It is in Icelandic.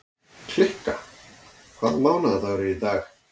Kikka, hvaða mánaðardagur er í dag?